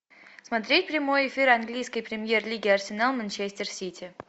смотреть прямой эфир английской премьер лиги арсенал манчестер сити